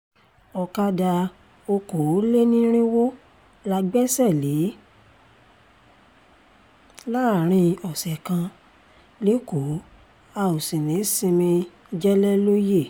ọ̀kadà okòólénírínwó la gbẹ́sẹ̀ lé láàrin ọ̀sẹ̀ kan lẹ́kọ̀ọ́ a ò sì ní í sinmi jẹ̀lẹ́lóye